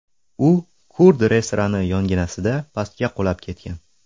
U kurd restorani yonginasida pastga qulab ketgan.